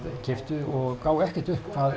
keyptu og gáfu ekkert upp hvað